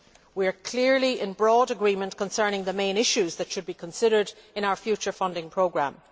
We are clearly in broad agreement concerning the main issues that should be considered in our future funding programme.